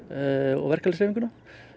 og verkalýðshreyfinguna